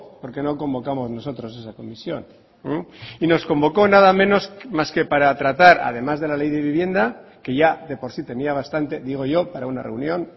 porque no convocamos nosotros esa comisión y nos convocó nada menos más que para tratar además de la ley de vivienda que ya de por sí tenía bastante digo yo para una reunión